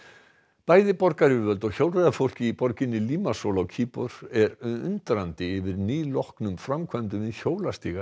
bæði borgaryfirvöld og hjólreiðafólk í borginni Limasol á Kýpur eru undrandi yfir nýloknum framkvæmdum við hjólastíga í